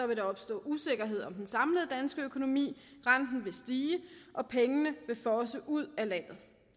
vil der opstå usikkerhed om den samlede danske økonomi renten vil stige og pengene vil fosse ud af landet